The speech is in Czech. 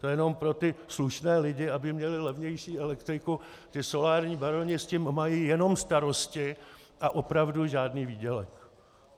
To jenom pro ty slušné lidi, aby měli levnější elektriku, ti solární baroni s tím mají jenom starosti a opravdu žádný výdělek.